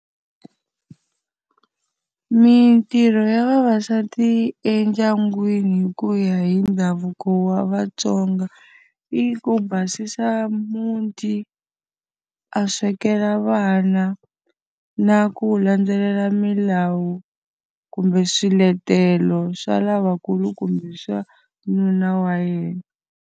Mintirho ya vavasati endyangwini hi ku ya hi ndhavuko wa vaTsonga, i ku basisa muti, a swekela vana, na ku landzelela milawu kumbe swiletelo swa lavakulu kumbe swa nuna wa yena.